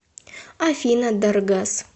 афина даргас